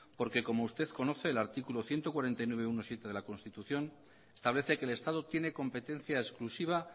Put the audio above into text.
porque como usted conoce el artículo ciento cuarenta y nueve punto uno punto siete de la constitución establece que el estado tiene competencia exclusiva